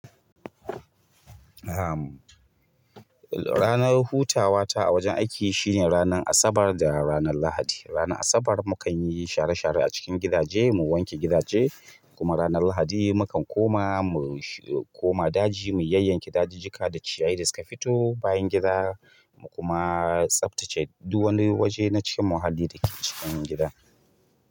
Am, ranar hutawa ta a wajen aiki shine ranan Asabar da ranan Lahadi. Ranar Asabar mu kan yi share-share a cikin gidaje, mu wanke gidaje kuma ranar Lahadi mu kan koma, koma daji mu yayyanke dajijika da ciyayi da suka fito bayan gida mu kuma tsaftace duk wani waje na cikin muhalli da ke cikin gida.